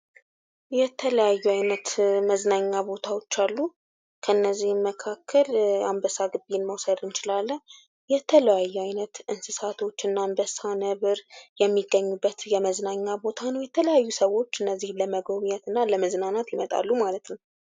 የተለያዩ አይነት መዝናኛ ቦታዎች አሉ። ከነዚህም መካክለ አንበሳ ግቢን መዉሰድ እንችላለን። የተለያዩ እንስሳ አይነቶች አንበሳ፣ ነብር የሚገኙበት የመዝናኛ ቦታ ነው።